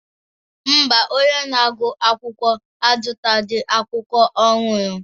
Mba, onye na-agụ akwụkwọ azụtaghị akwụkwọ ọhụrụ